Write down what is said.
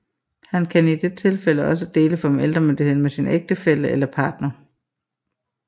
Han kan i det tilfælde også dele forældremyndigheden med sin ægtefælle eller partner